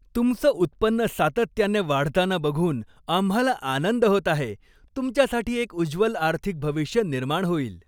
तुमचं उत्पन्न सातत्याने वाढताना बघून आम्हाला आनंद होत आहे, तुमच्यासाठी एक उज्ज्वल आर्थिक भविष्य निर्माण होईल!